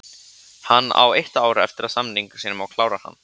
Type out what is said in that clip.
Hann á eitt ár eftir af samningi sínum og klárar hann.